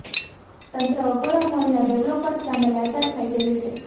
તંત્ર અગોરા મોલના ડેવલોપર્સ સામે લાચાર થઇ ગયું છે